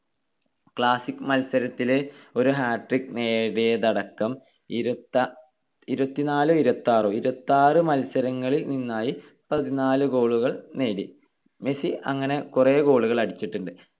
classic മത്സരത്തില് ഒരു hat trick നേടിയത് അടക്കം ഇരുപത്തി~ ഇരുപതിനാലോ ഇരുപത്തിയാറോ ഇരുപത്തിയാറ് മത്സരങ്ങളിൽ നിന്നായി പതിനാല് goal കൾ നേടി. മെസ്സി അങ്ങനെ കൊറേ goal കൾ അടിച്ചിട്ടുണ്ട്.